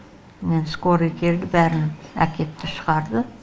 мен скорый келді бәрін әкетті шығарды